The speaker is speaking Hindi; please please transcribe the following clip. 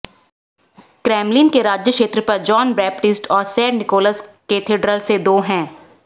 क्रेमलिन के राज्य क्षेत्र पर जॉन बैपटिस्ट और सेंट निकोलस कैथेड्रल से दो हैं